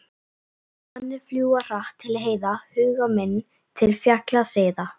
Svanir fljúga hratt til heiða, huga minn til fjalla seiða.